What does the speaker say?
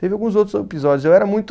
Teve alguns outros episódios, eu era muito